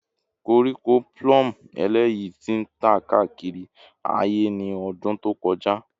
Koríko plume eleyi ti tan kaakiri aaye ni ọdun to kọja